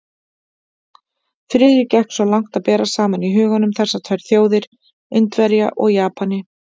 Friðrik gekk svo langt að bera saman í huganum þessar tvær þjóðir, Indverja og Japani.